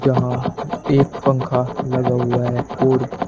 जहां एक पंखा लगा हुआ है और--